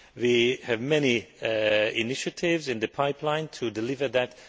We have many initiatives in the pipeline to deliver that.